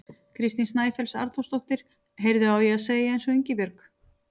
Kristín Snæfells Arnþórsdóttir: Heyrðu, á ég að segja eins og Ingibjörg?